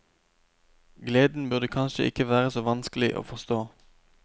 Gleden burde kanskje ikke være så vanskelig å forstå.